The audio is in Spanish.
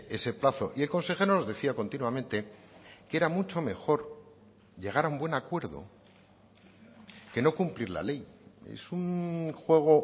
ese plazo y el consejero nos decía continuamente que era mucho mejor llegar a un buen acuerdo que no cumplir la ley es un juego